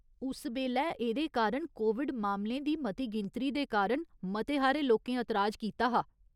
उस बेल्लै एह्दे कारण कोविड मामलें दी मती गिनतरी दे कारण मते हारे लोकें एतराज कीता हा।